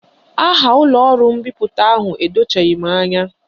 Aha ụlọọrụ mbipụta ahụ edochaghị m anya